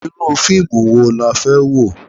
Irú fíìmù wo la fẹ́ wò?